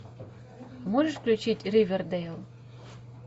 можешь включить ривердейл